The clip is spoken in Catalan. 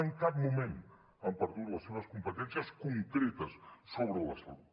en cap moment han perdut les seves competències concretes sobre la salut